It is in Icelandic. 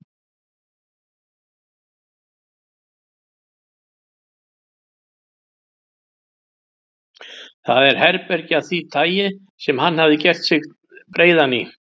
Það er herbergi af því tagi sem hann hefði gert sig breiðan í.